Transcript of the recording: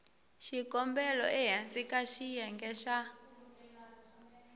xikombelo ehansi ka xiyenge xa